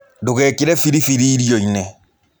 Ndũgekĩre biribiri irio-inĩ.